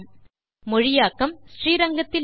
மொழியாக்கம் ஸ்ரீரங்கத்திலிருந்து கீதா சாம்பசிவம்